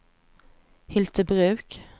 Hyltebruk